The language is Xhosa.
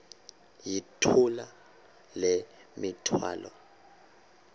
yithula le mithwalo